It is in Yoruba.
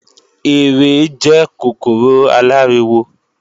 Ere jẹ́ kòkòrò aláriwo